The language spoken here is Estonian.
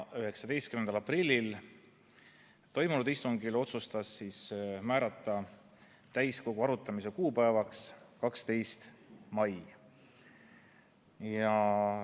19. aprillil toimunud istungil otsustati määrata täiskogu arutamise kuupäevaks 12. mai.